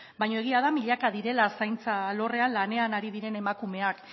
baina egia da milaka direla zaintza alorrean lanean ari diren emakumeak